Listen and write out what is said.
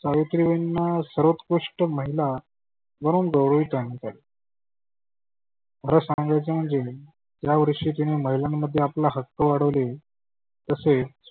सावित्रीबाईंना सर्वोत्कृष्ठ महीला म्हणून गौरवीत केले. खरं सांगायच म्हणजे या वर्षी जिने महिलांध्ये आपला हक्क वाढवले तसेच